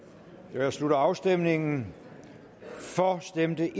jeg slutter afstemningen for stemte